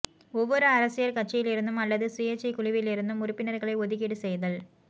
ஒவ்வொரு அரசியற் கட்சியிலிருந்தும் அல்லது சுயேச்சைக் குழுவிலிருந்தும் உறுப்பினர்களை ஒதுக்கீடு செய்தல்